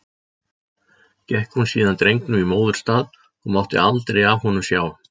Gekk hún síðan drengnum í móðurstað og mátti aldrei af honum sjá.